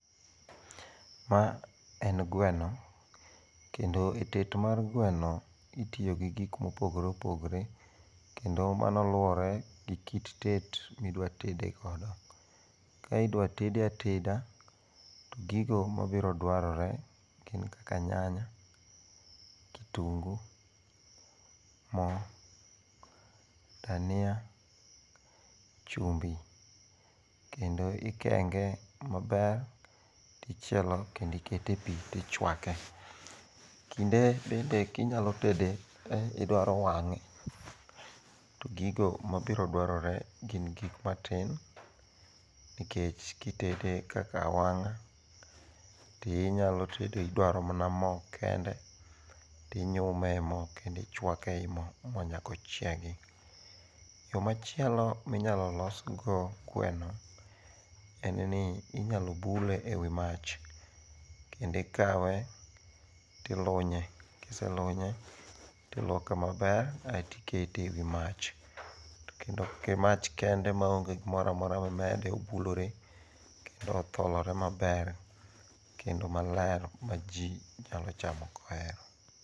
Ma en gweno, kendo e tet mar gweno itiyo gi gik mopopgore opopgore kendo mano luwore gi kit tet midwatede kodo. Ka idwa tede ateda, to gigo mabiro dwarore gin kaka nyanya, kitungu, mo, dania, chumbi kendo ikenge maber tichielo kendi ikete e pi tichwake. Kinde bende kinyalo tede idwaro wang'e to gigo mabirodwarore gin gik matin, nikech kitede kaka awang'a tidwaro mana mo kende, tinyume e mo kendo ichwake e mo nyaka ochiegi. Yo machielo minyalo losgo gweno en ni inyalo bule e wi mach kendo ikawe tilunye, kiselunye tiluoke maber aeto ikete e wi mach to kendo mach kende maonge gimoro amora mimede obulore kendo otholore maber kendo maler ma ji nyalo chamo koero.